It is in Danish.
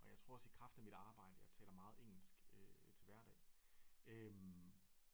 Og jeg tror også i kraft af mit arbejde jeg taler meget engelsk til hverdag